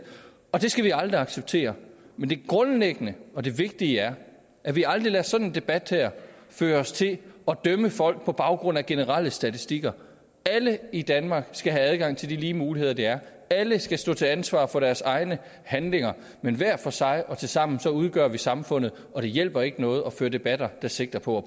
det skal vi aldrig acceptere men det grundlæggende og det vigtige er at vi aldrig lader sådan en debat her føre os til at dømme folk på baggrund af generelle statistikker alle i danmark skal have adgang til de lige muligheder der er alle skal stå til ansvar for deres egne handlinger men hver for sig og tilsammen udgør vi samfundet og det hjælper ikke noget at føre debatter der sigter på